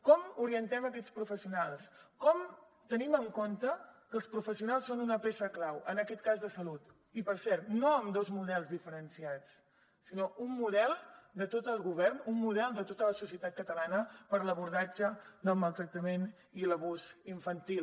com orientem aquests professionals com tenim en compte que els professionals són una peça clau en aquest cas de salut i per cert no amb dos models diferenciats sinó un model de tot el govern un model de tota la societat catalana per a l’abordatge del maltractament i l’abús infantil